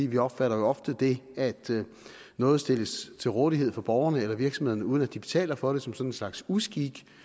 vi opfatter jo ofte det at noget stilles til rådighed for borgerne eller virksomhederne uden at de betaler for det som sådan en slags uskik